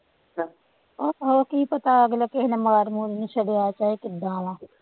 ਆਹੋ ਕੀ ਪਤਾ ਅਗਲਾ ਕਿਸੇ ਨੇ ਮਾਰ ਮੂਰ ਵੀ ਛੱਡਿਆ, ਚਾਹੇ ਕਿਦਾਂ ਵਾਂ,